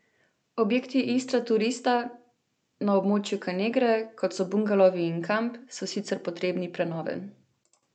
Objekti Istraturista na območju Kanegre, kot so bungalovi in kamp, so sicer potrebni prenove.